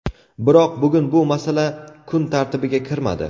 Biroq bugun bu masala kun tartibiga kirmadi.